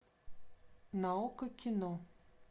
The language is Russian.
на окко кино